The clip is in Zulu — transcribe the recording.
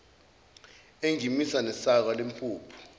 engimisa nesaka lempuphu